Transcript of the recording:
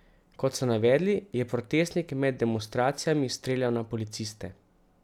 Kot so navedli, je protestnik med demonstracijami streljal na policiste.